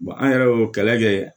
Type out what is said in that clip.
an yɛrɛ y'o kɛlɛ kɛ